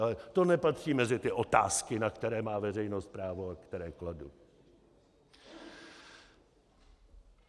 Ale to nepatří mezi ty otázky, na které má veřejnost právo a které kladu.